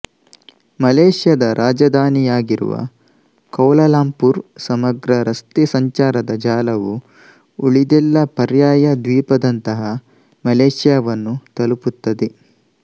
ಮಲೆಷ್ಯಾದ ರಾಜಧಾನಿಯಾಗಿರುವ ಕೌಲಾಲಂಪುರ್ ಸಮಗ್ರ ರಸ್ತೆ ಸಂಚಾರದ ಜಾಲವು ಉಳಿದೆಲ್ಲ ಪರ್ಯಾಯ ದ್ವೀಪದಂತಹ ಮಲೆಷ್ಯಾವನ್ನು ತಲುಪುತ್ತದೆ